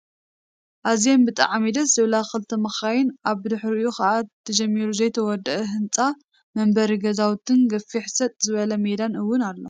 ኣዝየን ብጣዕሚ ደስ ዝብላ ክልተ መካይንን ኣብ ብድሕርይኡ ከዓ ተጀሚሩ ዘይተወደአ ህንፃን መንበሪ ገዛውትን ገፊሕ ሰጥ ዝበለ ሜዳ እውን ኣሎ።